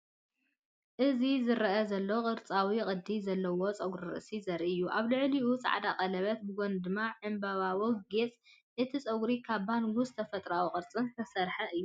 እዚ ዝረአ ዘሎ ቅርጻዊ ቅዲ ዘለዎ ጸጉሪ ርእሲ ዘርኢ እዩ፤ ኣብ ልዕሊኡ ጻዕዳ ቀለቤት ብጎኒ ድማ ዕምባባዊ ጌጽ። እቲ ጸጉሪ ካብ ባንጉስን ተፈጥሮኣዊ ቅርጽን ዝተሰርሐ እዩ።